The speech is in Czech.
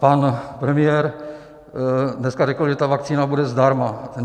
Pan premiér dneska řekl, že ta vakcína bude zdarma.